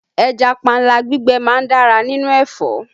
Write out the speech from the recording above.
Ẹja panla gbígbẹ má ń dára nínú ẹ̀fọ́